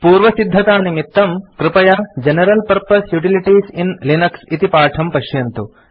पूर्वसिद्धतानिमित्तं कृपया general purpose utilities in Linux इति पाठं पश्यन्तु